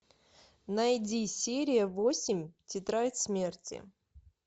найди серия восемь тетрадь смерти